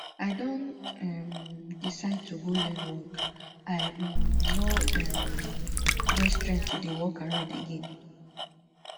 i don um decide to go learn work i um no um get strength to dey walk around again